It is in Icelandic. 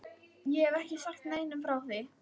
Ég hef ekki sagt neinum frá því.